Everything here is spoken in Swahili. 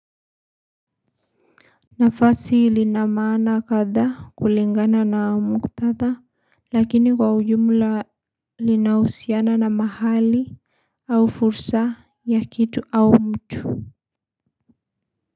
Nafasi lina maana katha kulingana na mukhtatha lakini kwa ujumla linahusiana na mahali au fursa ya kitu au mtu.